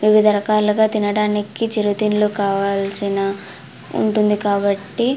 వివిధ రకాలుగా తినడానికి చిరుతిండ్లు కావాల్సిన ఉంటుంది కాబట్టి --